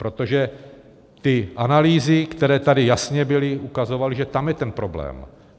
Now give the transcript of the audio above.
Protože ty analýzy, které tady jasně byly, ukazovaly, že tam je ten problém.